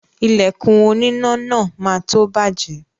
Ìlẹ̀kùn oníná náà má tó bàjẹ́